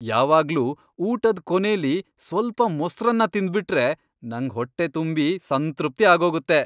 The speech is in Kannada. ಯಾವಾಗ್ಲೂ ಊಟದ್ ಕೊನೆಲಿ ಸ್ವಲ್ಪ ಮೊಸ್ರನ್ನ ತಿಂದ್ಬಿಟ್ರೆ ನಂಗ್ ಹೊಟ್ಟೆ ತುಂಬಿ ಸಂತೃಪ್ತಿ ಆಗೋಗತ್ತೆ.